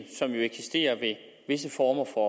som jo eksisterer ved visse former for